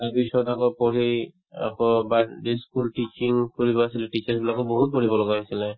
তাৰপিছত আকৌ পঢ়ি আকৌ school tuition কৰিব আহিছিলো বিলাকো বহুত পঢ়িব লগা হৈছিলে